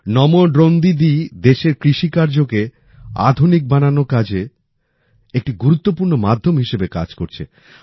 নামো ড্রোন দিদি দেশের কৃষি কার্যকে আধুনিক বানানো কাজে একটি গুরুতপূর্ণ মাধ্যাম হিসাবে কাজ করছে